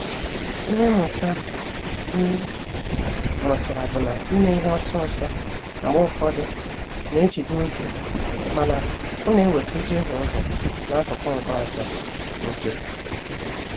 Ịhe mmụta m mụtara bụ na ime ihe ọsọ ọsọ mgbe ụfọdụ ná-ejide oge mana, ọ na-eweta ijehie ụzọ n'akụkụ nke ọzọ nke.